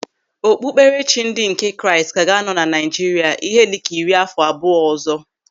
Okpukperechi ndị nke Kraịst ka ga-anọ na Naịjirịa ihe dịka iri àfọ abụọ ọzọ.